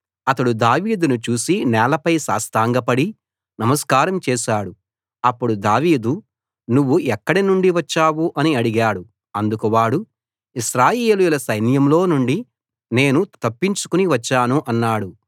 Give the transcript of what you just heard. అతడు దావీదును చూసి నేలపై సాష్టాంగపడి నమస్కారం చేశాడు అప్పుడు దావీదు నువ్వు ఎక్కడ నుండి వచ్చావు అని అడిగాడు అందుకు వాడు ఇశ్రాయేలీయుల సైన్యంలో నుండి నేను తప్పించుకు వచ్చాను అన్నాడు